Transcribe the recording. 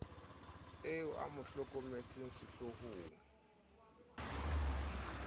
eo a mo hlokomelang setloholo